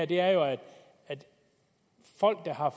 det her er jo at folk der har